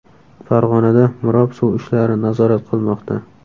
Farg‘onada mirob suv ishlari nazorat qilmoqda.